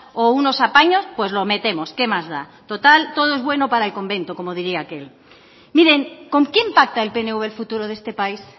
o unos apaños pues lo metemos qué más da total todo es bueno para el convento como diría aquel miren con quién pacta el pnv el futuro de este país